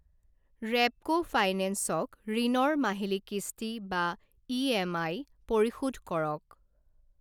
Repco finance ক ঋণৰ মাহিলি কিস্তি বা ই.এম.আই পৰিশোধ কৰক।